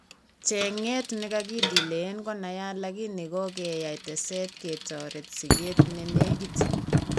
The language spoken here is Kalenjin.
Cheng'eet nekakidelayen konaiyat lakini kokeyai teset ketoret sikeet nenekit